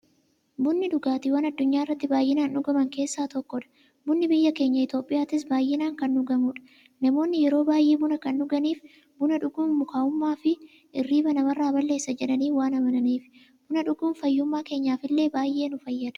Bunni dhugaatiiwwan addunyaarratti baay'inaan dhugaman keessaa isa tokkodha. Bunni biyya keenya Itiyoophiyaattis baay'inaan kan dhugamuudha. Namoonni yeroo baay'ee buna kan dhuganiif, buna dhuguun mukaa'ummaafi hirriiba namarraa balleessa jedhanii waan amananiifi. Buna dhuguun fayyummaa keenyaf illee baay'ee nu fayyada.